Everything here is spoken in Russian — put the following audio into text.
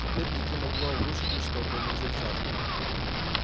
теперь их не могло обрушить ничто кроме взрывчатки